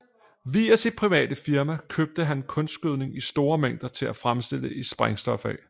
Via sit private firma købte han kunstgødning i store mængder til at fremstille sprængstof af